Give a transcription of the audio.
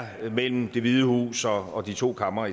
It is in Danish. mellem det hvide hus og de to kamre og